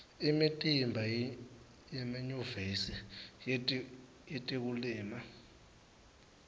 imitimba yemanyuvesi yetekulima